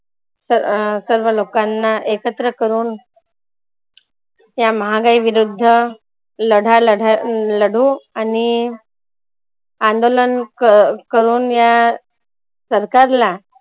स अं सर्व लोकांना एकत्र करूण त्या महागाई विरुद्ध लढ्या लढ्या लढू आणि अंदोलन अं करूण या सरकारला